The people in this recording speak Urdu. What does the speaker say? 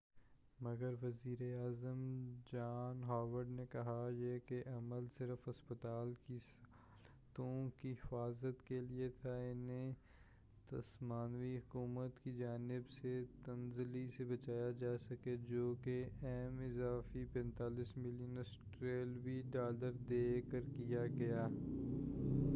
مگر وزیرِاعظم جان ہاورڈ نے کہا ہے کہ یہ عمل صرف ہسپتال کی سہولتوں کی حفاظت کے لیے تھا کہ اُنہیں تسمانوی حکومت کی جانب سے تنزلی سے بچایا جاسکے جو کہ ایم اضافی 45 ملین آسٹریلوی ڈالر دے کر کیا گیا